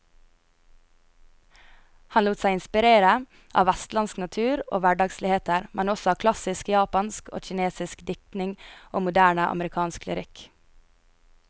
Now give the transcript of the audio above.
Han lot seg inspirere av vestlandsk natur og hverdagsligheter, men også av klassisk japansk og kinesisk diktning og moderne amerikansk lyrikk.